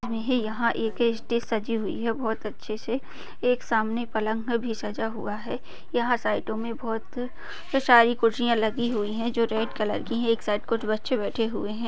हमे यहा एके स्टेज सजी हुई है। बहुत अच्छे से एक सामने पलंग भी सजा हुआ है। यहा साइड मे बहुत सारी कुरसिया लगी हुई है। जो की रेड कलर की है। एक साइड कुछ बच्चे बैठे हुए है।